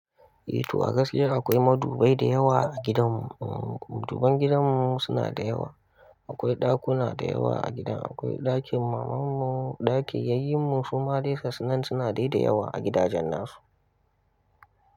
Eh to a gaskiya akwai madubai da yawa a gidan mu. Maduban gidan mu suna da yawa. Akwai ɗakuna da yawa a gidan. Akwai ɗakin maman mu, ɗakin yayyen mu, suma de gasu nan suna de da yawa a gidajen nasu.